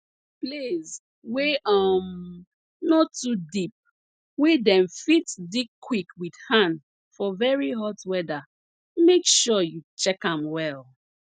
place wey um no too deep wey dem fit dig quick with hand for very hot weather make sure you check am well